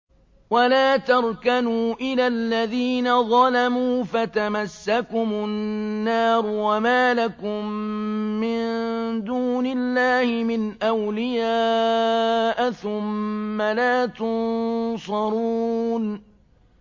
وَلَا تَرْكَنُوا إِلَى الَّذِينَ ظَلَمُوا فَتَمَسَّكُمُ النَّارُ وَمَا لَكُم مِّن دُونِ اللَّهِ مِنْ أَوْلِيَاءَ ثُمَّ لَا تُنصَرُونَ